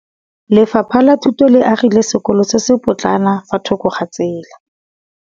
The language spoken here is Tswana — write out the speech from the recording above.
Lefapha la Thuto le agile sekôlô se se pôtlana fa thoko ga tsela.